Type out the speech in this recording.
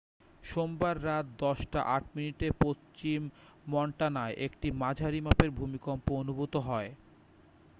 সোমবার রাত 10 টা 8 মিনিটে পশ্চিম মন্টানায় একটি মাঝারি মাপের ভূমিকম্প অনুভূত হয়